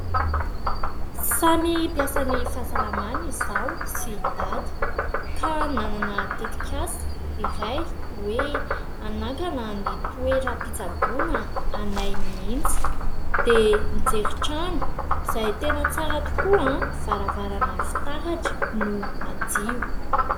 Samy mpiasa ny fahasalamana izaho sy i Dada ka nanana tetik'asa iray hoe hanangana ny toeram-pitsaboana anay mihitsy dia nijery trano izay tena tsara tokoa varavarana fitaratra no madio.